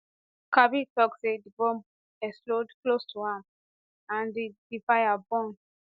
kabir tok say di bomb explode close to am and di di fire burn